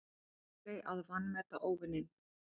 Aldrei að vanmeta óvininn.